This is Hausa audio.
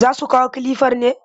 Za su kawo kalifar ne?